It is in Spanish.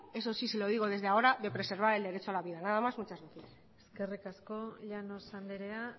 eso sí se lo digo desde ahora de preservar el derecho a la vida nada más muchas gracias eskerrik asko llanos andrea